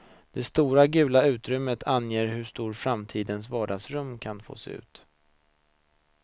Det stora gula utrymmet anger hur framtidens vardagsrum kan få se ut.